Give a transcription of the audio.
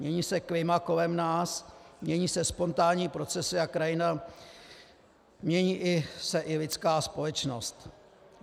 Mění se klima kolem nás, mění se spontánní procesy a krajina, mění se i lidská společnost.